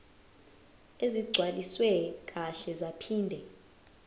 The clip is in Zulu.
ezigcwaliswe kahle zaphinde